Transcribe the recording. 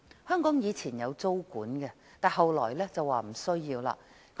香港以往曾實施租管，後來卻認為無需要。